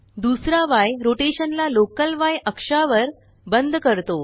दुसरा य रोटेशन ला लोकल Yअक्षावर बंद करतो